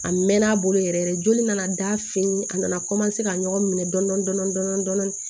A mɛnna a bolo yɛrɛ yɛrɛ joli nana da fini a nana ka ɲɔgɔn minɛ dɔɔnin dɔɔnin